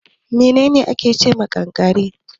Menene ake ce ma kankare.